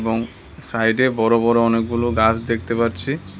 এবং সাইডে বড় বড় অনেকগুলো গাছ দেখতে পাচ্ছি।